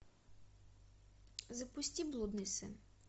запусти блудный сын